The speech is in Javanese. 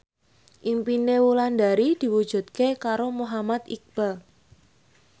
impine Wulandari diwujudke karo Muhammad Iqbal